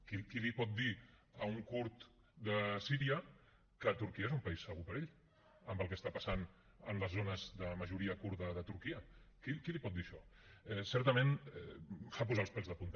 qui li pot dir a un kurd de síria que turquia és un país segur per a ell amb el que passa a les zones de majoria kurda de turquia qui li pot dir això certament fa posar els pèls de punta